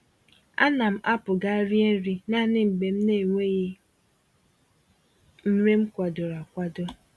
Ánám apụ gaa rie nri naanị mgbe m naenweghị nri m kwadoro akwado